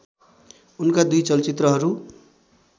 उनका दुई चलचित्रहरू